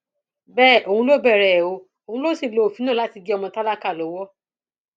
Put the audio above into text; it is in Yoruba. bẹẹ òun ló bẹrẹ ẹ o òun ló sì ti lo òfin náà láti fi gé ọmọ tálákà lọwọ